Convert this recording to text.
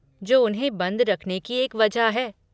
जो उन्हें बंद रखने की एक वजह है!